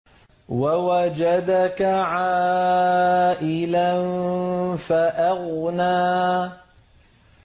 وَوَجَدَكَ عَائِلًا فَأَغْنَىٰ